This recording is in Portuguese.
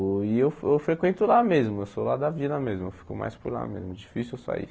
E eu eu frequento lá mesmo, eu sou lá da vila mesmo, eu fico mais por lá mesmo, difícil eu sair.